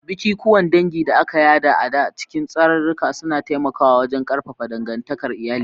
Bikikuwan dangi da aka yada ta cikin tsararraki suna taimakawa wajen ƙarfafa dangantakar iyali.